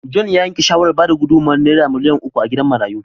John ya yanke shawarar bayar da gudummawar Naira miliyan uku a gidan marayun.